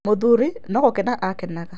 Mũthuri no gũkena akenaga.